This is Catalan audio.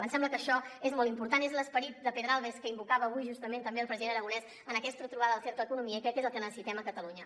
ens sembla que això és molt important és l’esperit de pedralbes que invocava avui justament també el president aragonès en aquesta trobada del cercle d’economia i crec que és el que necessitem a catalunya